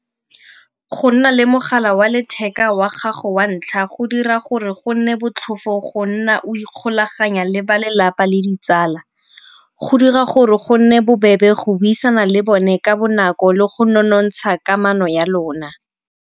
Go nna le mogala wa letheka wa gago wa ntlha go dira gore go nne botlhofo go nna o ikgolaganya le balelapa le ditsala. Go dira gore go nne bobebe go buisana le bone ka bonako le go nonontsha kamano ya lona.